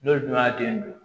N'olu dun y'a den don